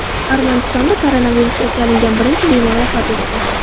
Armanistonda koronavirusga chalingan birinchi bemor vafot etdi.